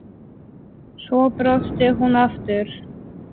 Svo brosti hún aftur.